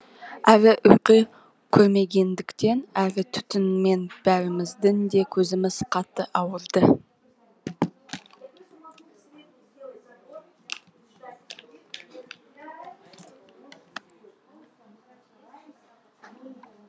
әрі ұйқы көрмегендіктен әрі түтіннен бәріміздің де көзіміз қатты ауырды